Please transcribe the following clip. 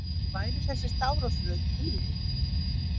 Væri þessi stafrófsröð tilviljun?